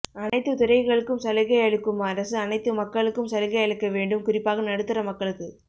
அனைத்து துறைகளுக்கும் சலுகை அளிக்கும் அரசு அனைத்து மக்களுக்கும் சலுகை அளிக்கவேண்டும் குறிப்பாக நடுத்தர மக்களுக்கு